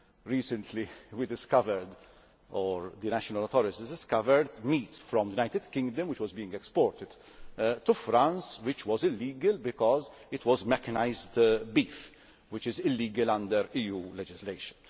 Recently we discovered, or the national authorities discovered, meat from the United Kingdom which was being exported to France which was illegal because it was mechanised beef, which is illegal under EU legislation.